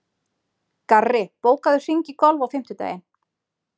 Garri, bókaðu hring í golf á fimmtudaginn.